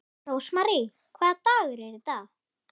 Rósmary, hvaða dagur er í dag?